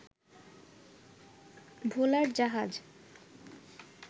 ভোলার জাহাজ